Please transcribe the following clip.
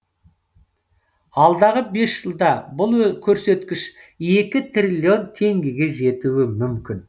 алдағы бес жылда бұл көрсеткіш екі триллион теңгеге жетуі мүмкін